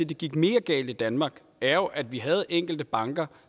det gik mere galt i danmark er jo at vi havde enkelte banker